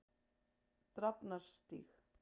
Drafnarstíg